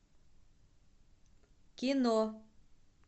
кино